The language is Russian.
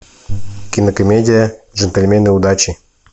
кинокомедия джентльмены удачи